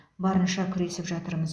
барынша күресіп жатырмыз